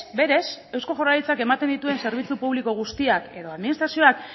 berez eusko jaurlaritzak ematen dituen zerbitzu publiko guztiak edo administrazioak